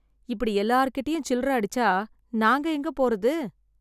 இப்படி எல்லார் கிட்டயும் சில்லறை அடிச்சா, நாங்க எங்க போறது.